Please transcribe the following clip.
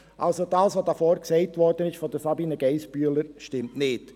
Also: Was hier vorne von Sabina Geissbühler gesagt wurde, stimmt nicht.